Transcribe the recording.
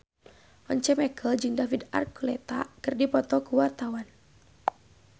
Once Mekel jeung David Archuletta keur dipoto ku wartawan